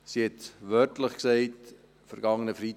Sie hat wörtlich gesagt, am vergangenen Freitag: